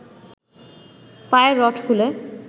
পায়ের রড খুলে